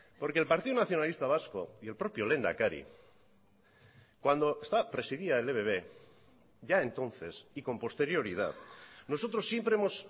porque el partido nacionalista vasco y el propio lehendakari cuando esta presidía el ebb ya entonces y con posterioridad nosotros siempre hemos